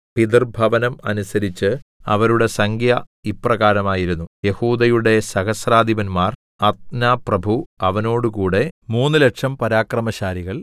പിതൃഭവനം അനുസരിച്ച് അവരുടെ സംഖ്യ ഇപ്രകാരമായിരുന്നു യെഹൂദയുടെ സഹസ്രാധിപന്മാർ അദ്നാപ്രഭു അവനോടുകൂടെ മൂന്നുലക്ഷം പരാക്രമശാലികൾ